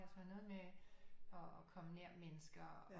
Noget med at komme nær mennesker